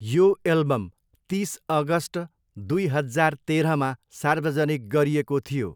यो एल्बम तिस अगष्ट दुई हजार तेह्रमा सार्वजनिक गरिएको थियो।